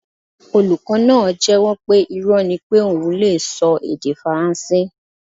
Olukọ naa jẹ́wọ́ pe irọ́ ni pé oun lee sọ èdè faransé